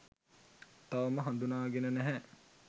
තවම හඳුනාගෙන නැහැ.